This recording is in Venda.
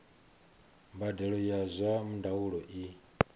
mbadelo ya zwa ndaulo i